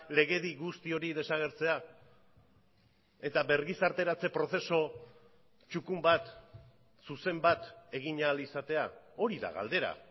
legedi guzti hori desagertzea eta bergizarteratze prozesu txukun bat zuzen bat egin ahal izatea hori da galdera